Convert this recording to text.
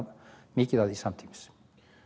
mikið af því samtímis